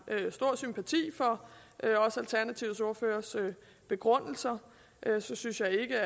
stor sympati for alternativets ordførers begrundelser synes jeg ikke